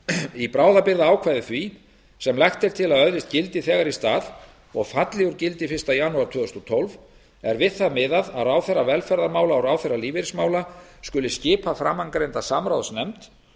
í bráðabirgðaákvæði því sem lagt er til að öðlist gildi þegar í stað og falli úr gildi fyrsta janúar tvö þúsund og tólf er við það miðað að ráðherra velferðarmála og ráðherra lífeyrismála skuli skipa framangreinda samráðsnefnd